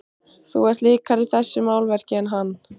Þú ert líkari þessu málverki en hann.